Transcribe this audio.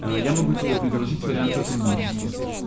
я могу тебе предложить вариант сотрудничества